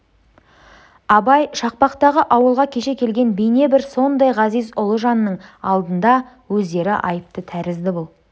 абай шақпақтағы ауылға кеше келген бейне бір сондай ғазиз ұлы жанның алдында өздері айыпты тәрізді бұл